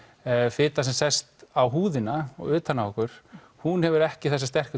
fita sem sest á húðina og utan á okkur hún hefur ekki þessi sterku